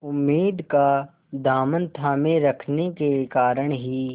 उम्मीद का दामन थामे रखने के कारण ही